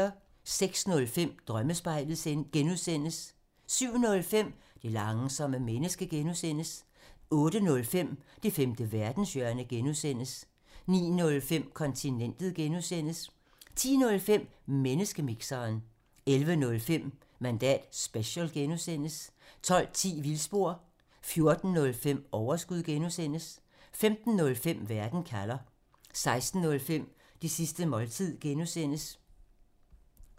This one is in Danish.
06:05: Drømmespejlet (G) 07:05: Det langsomme menneske (G) 08:05: Det femte verdenshjørne (G) 09:05: Kontinentet (G) 10:05: Menneskemixeren 11:05: Mandat special (G) 12:10: Vildspor 14:05: Overskud (G) 15:05: Verden kalder 16:05: Det sidste måltid (G)